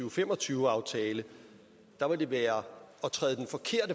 og fem og tyve aftale ville være at